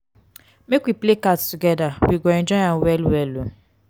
make we play cards togeda you go enjoy am well-well o.